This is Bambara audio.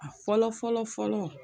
A fɔlɔ fɔlɔ fɔlɔ